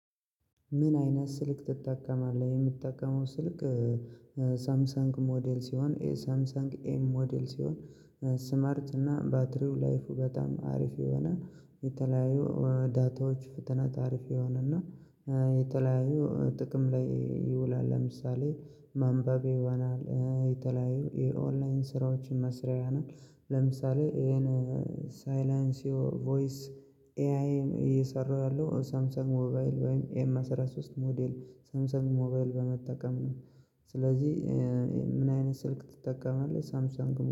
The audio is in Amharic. ምን አይነት ስልክ ትጠቀማለህ የምትጠቀመው ስልክ? ሳምሰንግ ሞዴል ሲሆን ኤ ሳምሰንግ ኤም ሞዴል ሲሆን ስማርት እና ባትሪው ላይፉ በጣም አሪፍ የሆነ የተለያዩ ዳታዎች ፍጥነት አሪፍ የሆነና የተለያዩ ጥቅም ላይ ይውላል። ለምሳሌ ማንበብ ይሆናል የተለያዩ የኦንላይን ስራዎችን መስሪያ ይሆናል። ለምሳሌ ይሄን ሳይላንስ ዮ ቮይስ ኤአይን እየሰራ ያለው ሳምሰንግ ሞባይል ወይም ኤም አስራ ሶስት ሞዴል ሳምሰን ሞባይል በመጠቀም ነው። ስለዚህ ምን አይነት ስልክ ትጠቀማለህ ሳምሰንግ